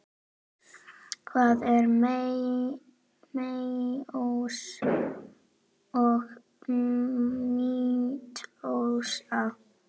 Hvað er meiósa og mítósa?